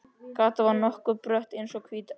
Gatan var nokkuð brött og eins og hvítt teppi.